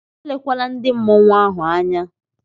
Elekwala ndị mmọnwu ahụ anya!